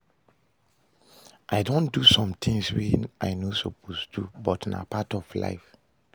I don do some things wey I no suppose do, but na part of life